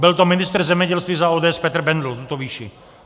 Byl to ministr zemědělství za ODS Petr Bendl, tuto výši.